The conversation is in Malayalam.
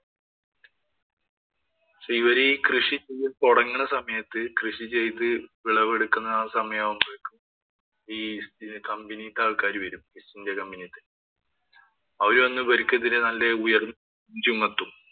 പക്ഷേ, അവരീ കൃഷി ചെയ്തു തുടങ്ങണ സമയത്ത് കൃഷി ചെയ്ത് വിളവെടുക്കണ സമയമാകുമ്പോഴേക്കും ഈ company ക്കാര്‍ കയറി വരും. East India company ക്കാര് അവര് വന്നു ഇവര്‍ക്കെതിരെ നല്ല ഉയര്‍ന്ന ചുമത്തും.